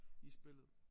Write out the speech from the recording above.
I spillet